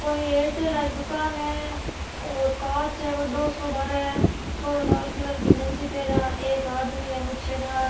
कोई एयरटेल री दुकान है और कांच है बड़ो सो बहारे छोरो लाल कलर की गंजी पहरा एक आदमी है मुछेदार।